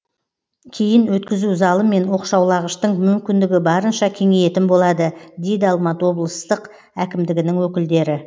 кейін өткізу залы мен оқшаулағыштың мүмкіндігі барынша кеңейетін болады дейді алматы облыстық әкімдігінің өкілдері